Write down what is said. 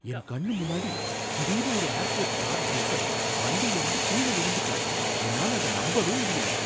என் கண்ணு முன்னாடி திடீர்னு ஒரு ஏர்போர்ட் கார்ட் டிரைவர் வண்டிலயிருந்து கீழ விழுந்துட்டார், என்னால அத நம்பவே முடியல!